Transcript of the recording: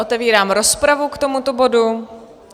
Otevírám rozpravu k tomuto bodu.